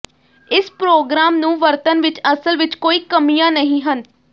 ਇਸ ਪ੍ਰੋਗਰਾਮ ਨੂੰ ਵਰਤਣ ਵਿਚ ਅਸਲ ਵਿਚ ਕੋਈ ਕਮੀਆਂ ਨਹੀਂ ਹਨ